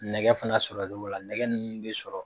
Nɛgɛ fana sɔrɔli nɛgɛ ninnu bɛ sɔrɔ.